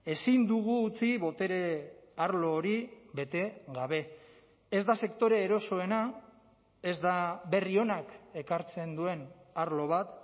ezin dugu utzi botere arlo hori bete gabe ez da sektore erosoena ez da berri onak ekartzen duen arlo bat